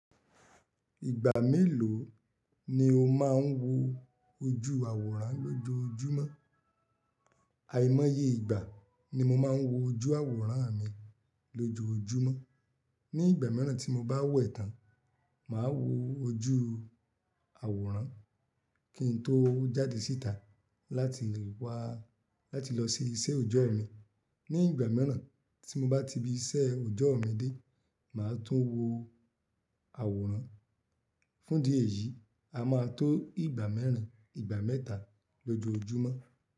Ìgbà mélòó ni o máa ń wo ojú àwòrán lójoojúmọ́? Àìmọye ìgbà ni mo máa ń wo ojú àwòrán mi lójoojúmọ́. Ní ìgbà miiràn tí mo bá wẹ̀ tán, màá wo ojú àwòrán kí n tó jáde síta láti wá-- láti lọ sí iṣẹ́ ọjọ́ mi. Ní ìgbà miiràn tí mo bá ti ibi iṣẹ́ ọjọ́ mi dé, màá tún wo àwòrán. Fún idí eyìí, a máa tó ìgbà mẹ́rin, ìgbà mẹ́ta lójoojúmọ́.